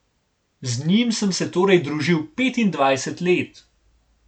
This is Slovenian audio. Z njim sem se torej družil petindvajset let.